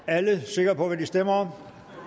er alle sikre på hvad de stemmer